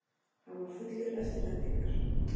Hann var fullur eftirvæntingar.